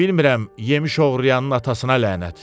Bilmirəm yemiş oğurlayanın atasına lənət!